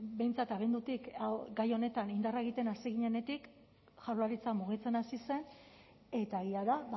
behintzat abendutik gai honetan indarra egiten hasi ginenetik jaurlaritza mugitzen hasi zen eta egia da